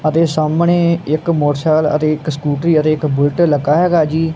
ਅਤੇ ਸਾਹਮਣੇ ਇੱਕ ਮੋਟਰਸਾਇਕਲ ਅਤੇ ਇੱਕ ਸਕੂਟਰੀ ਅਤੇ ਇੱਕ ਬੁਲਟ ਲੱਗਾ ਹੈਗਾ ਜੀ।